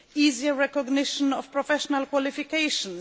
easier recognition of professional qualifications